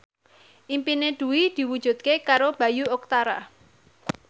impine Dwi diwujudke karo Bayu Octara